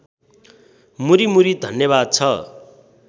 मुरिमुरी धन्यवाद छ